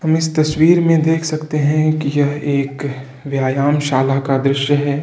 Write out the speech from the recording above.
हम इस तस्वीर में देख सकते है कि यह एक व्यायाम शाला का दृश्य है।